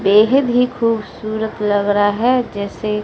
येह भी खूबसूरत लग रहा है जैसे--